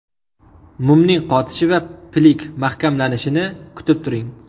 Mumning qotishi va pilik mahkamlanishini kutib turing.